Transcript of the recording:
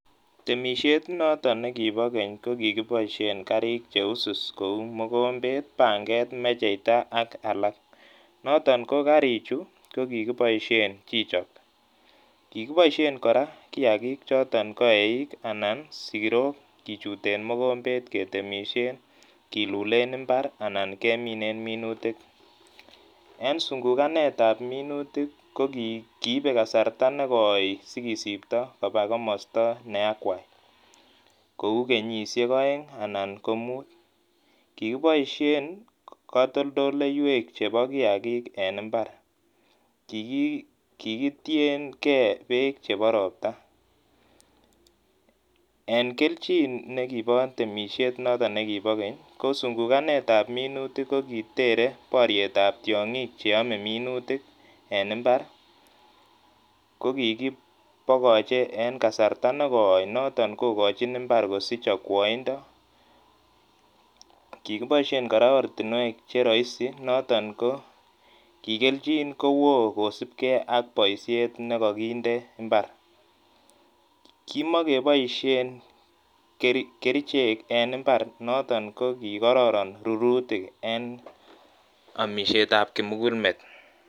Temishet notok ne kibo keny ko kikiboisien karik che wiswis kou mogombet, panget, mecheita ak alak. Noton ko karichu ko ki kikiboisien kichok. Kikiboisien kora kiagik choto ko eik anan siro kichuten mogombet ketemisien kilulen imbar anan keminen minutik. En sungukanet ab minutik ko ki kiibe kasarta ne koi si kisibto koba komosta na akwai. Kou kenyishek oeng anan ko mut kikiboisien katoltoloiwek chebo kiagik en imbar. Kikitiengei bek chebo ropta en keljin ne kibo temisiet noto ne kibo keny ko sunguganet ab minutik ko ki tere boriet ab tiongi'k che ome minutik en imbar ko kikipokoche en kasarta ne koi noton kokochin imbar kosich okwoindo. Kikiboisien kora ortinwek che roisi noton ko ki keljin kowoo kosupkei ak boisiet ne ka kinde imbar. Kimakeboisien kerichek en imbar noto ko kikororon rurutik en omisietab kimugulmet.